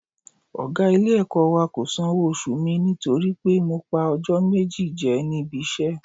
Ọ̀gá ilé-ẹ̀kọ́ wa kò sanwó oṣù mi nítorí pé mo pa ọjọ́ méjì jẹ níbi iṣẹ́